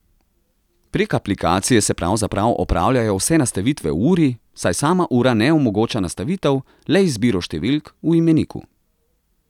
Prek aplikacije se pravzaprav opravljajo vse nastavitve v uri, saj sama ura ne omogoča nastavitev, le izbiro številk v imeniku.